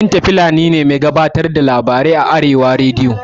Binta fulani mai gabatar da labarai ce a arewa rediyo